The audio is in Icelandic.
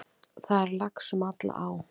Það er lax um alla á.